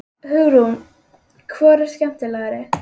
Hugrún: Hvor eru skemmtilegri?